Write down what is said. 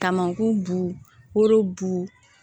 Kamankun bulu bu